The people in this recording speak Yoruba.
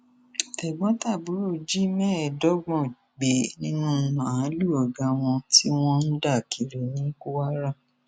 tẹgbọntàbúrò jí mẹẹẹdọgbọn gbé nínú màálùú ọgá wọn tí wọn ń dà kiri ní kwara